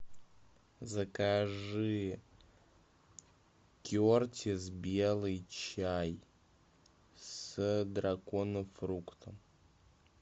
закажи кертис белый чай с драконофруктом